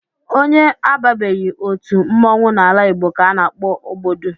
Onye ababeghị otu mmọnwụ n'ala Igbo ka a na-akpọ ogbodu